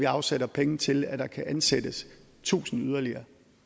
afsætte penge til at der kan ansættes tusind yderligere